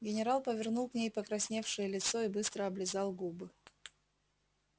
генерал повернул к ней покрасневшее лицо и быстро облизал губы